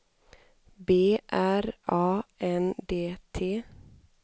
B R A N D T